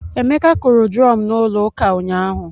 Emeka kụrụ drum n'ụlọ ụka nyahu